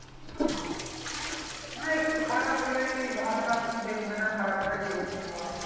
আরেকটু খারাপ হলেই ভালোটা আর কেউ দেখবে না খারাপটাই দেখবে সব।